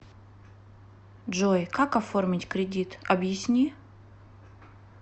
джой как оформить кредит объясни